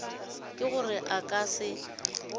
ke gore a ka se